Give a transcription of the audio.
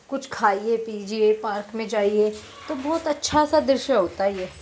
कुछ खाइए पीजिए पार्क में जाइए तो बहोत (बहुत) अच्छा-सा दृश्य होता है ये।